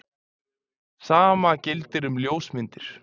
Sama gildir um ljósmyndir.